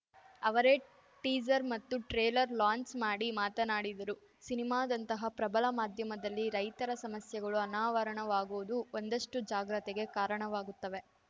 ಅವರೇ ಟೀಸರ್‌ ಮತ್ತು trailer launch ಮಾಡಿ ಮಾತನಾಡಿದರು ಸಿನಿಮಾದಂತಹ ಪ್ರಬಲ ಮಾಧ್ಯಮದಲ್ಲಿ ರೈತರ ಸಮಸ್ಯೆಗಳು ಅನಾವರಣವಾಗುವುದು ಒಂದಷ್ಟುಜಾಗ್ರತೆಗೆ ಕಾರಣವಾಗುತ್ತವೆ